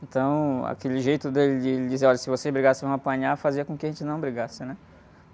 Então, aquele jeito dele de ele dizer, olha, se vocês brigarem vocês vão apanhar, fazia com que a gente não brigasse, né?